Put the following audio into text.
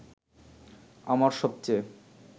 আমার সবচেয়ে